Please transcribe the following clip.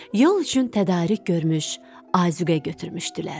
Yol üçün tədarük görmüş, azuqə götürmüşdülər.